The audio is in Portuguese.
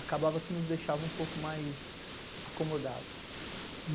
acabava que nos deixava um pouco mais acomodados.